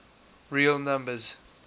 real numbers